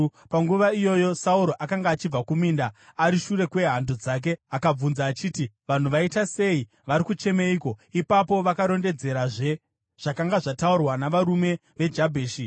Panguva iyoyo Sauro akanga achibva kuminda, ari shure kwehando dzake, akabvunza achiti, “Vanhu vaita sei? Vari kuchemeiko?” Ipapo vakarondedzerazve zvakanga zvataurwa navarume veJabheshi.